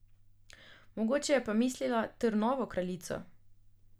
Mogoče je pa mislila Trnovo kraljico?